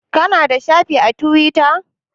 Ka na da shafi a Tiwita?